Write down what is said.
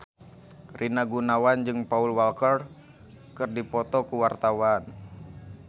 Rina Gunawan jeung Paul Walker keur dipoto ku wartawan